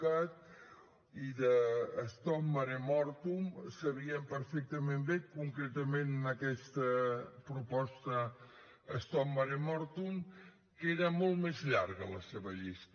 cat i de stop mare mortum sabien perfectament bé concretament en aquesta proposta stop mare mortum que era molt més llarga la seva llista